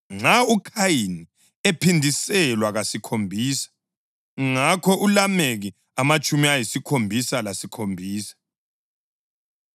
Nxa uKhayini ephindiselwa kasikhombisa ngakho uLameki amatshumi ayisikhombisa lesikhombisa.”